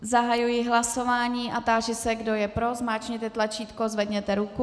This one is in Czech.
Zahajuji hlasování a táži se, kdo je pro, zmáčkněte tlačítko, zvedněte ruku.